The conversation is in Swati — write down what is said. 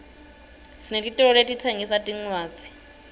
sinetitolo letitsengisa tincwadzi